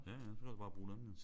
Ja ja så kan han jo bare bruge dem jo